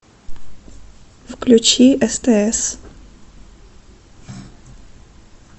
включи стс